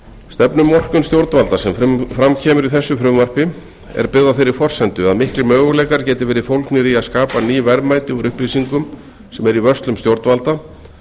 stefnumörkun stjórnvalda sem fram kemur í þessu frumvarpi er byggð á þeirri forsendu að miklir möguleikar geti verið fólgnir í að skapa ný verðmæti úr upplýsingum sem eru í vörslum stjórnvalda